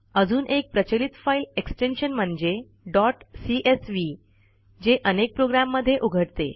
अजून एक प्रचलित फाईल एक्सटेन्शन म्हणजे डॉट सीएसवी जे अनेक प्रोग्रॅममध्ये उघडते